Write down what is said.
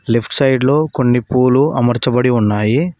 Left side లో కొన్ని పూలు అమర్చబడి ఉన్నాయి.